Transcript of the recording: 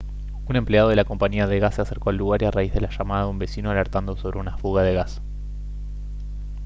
un empleado de la compañía de gas se acercó al lugar a raíz de la llamada de un vecino alertando sobre una fuga de gas